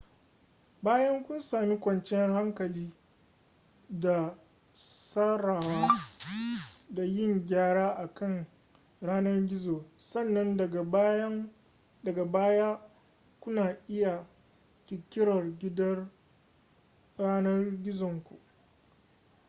bayan kun sami kwanciyar hankali da tsarawa da yin gyara akan yanar gizo sannan daga baya kuna iya ƙirƙirar gidan yanar gizonku